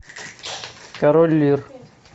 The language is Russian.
король лир